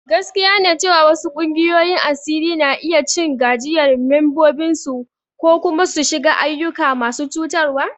Gaskiya ne cewa wasu ƙungiyoyin asiri na iya cin gajiyar membobinsu ko kuma su shiga ayyuka masu cutarwa.